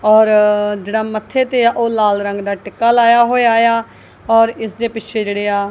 ਔਰ ਜਿਹੜਾ ਮੱਥੇ ਤੇ ਆ ਉਹ ਲਾਲ ਰੰਗ ਦਾ ਟਿੱਕਾ ਲਾਇਆ ਹੋਇਆ ਆ ਔਰ ਇਸਦੇ ਪਿੱਛੇ ਜਿਹੜੇ ਆ--